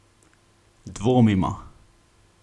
Dvomimo.